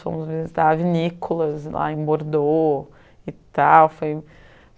Fomos visitar a Vinícolas lá em Bordeaux e tal, foi